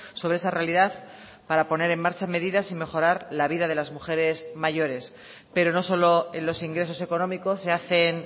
sobre esa realidad para poner en marcha medidas y mejorar la vida de las mujeres mayores pero no solo en los ingresos económicos se hacen